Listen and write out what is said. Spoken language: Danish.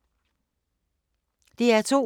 DR2